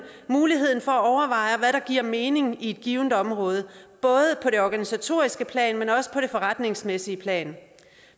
muligheden for at overveje hvad der giver mening på et givet område både på det organisatoriske plan men også på det forretningsmæssige plan